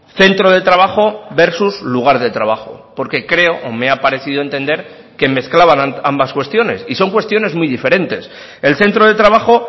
centro de trabajo versus lugar de trabajo porque creo o me ha parecido entender que mezclaban ambas cuestiones y son cuestiones muy diferentes el centro de trabajo